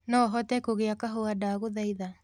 no hote kugĩa kahũa ndagũthaitha